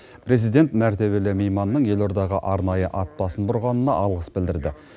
президент мәртебелі мейманның елордаға арнайы ат басын бұрғанына алғыс білдірді